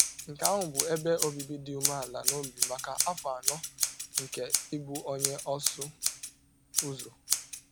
Nke ahụ bụ ebe obibi dị umeala n’obi m maka afọ anọ nke ịbụ onye ọsụ ụzọ.